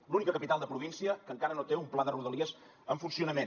l’única capital de província que encara no té un pla de rodalies en funcionament